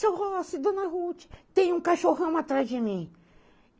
Seu Rossi, dona Ruth, tem um cachorrão atrás de mim.